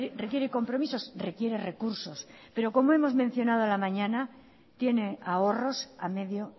requiere compromisos requiere recursos pero como hemos mencionado a la mañana tiene ahorros a medio